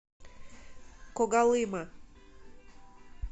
когалыма